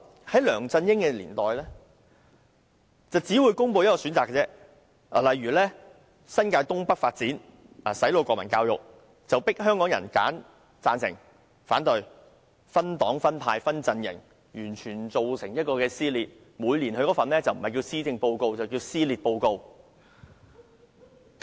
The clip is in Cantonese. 在梁振英年代，政府只會公布1個選擇，例如新界東北發展和"洗腦"國民教育，香港人當時被迫選擇贊成或反對，社會出現了分黨、分派和分陣營的局面，完全造成撕裂。